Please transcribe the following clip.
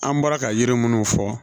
An bɔra ka yiri munnu fɔ